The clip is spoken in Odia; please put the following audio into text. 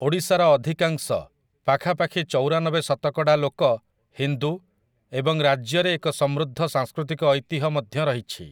ଓଡ଼ିଶାର ଅଧିକାଂଶ, ପାଖାପାଖି ଚଉରାନବେ ଶତକଡ଼ା, ଲୋକ ହିନ୍ଦୁ ଏବଂ ରାଜ୍ୟରେ ଏକ ସମୃଦ୍ଧ ସାଂସ୍କୃତିକ ଐତିହ୍ୟ ମଧ୍ୟ ରହିଛି ।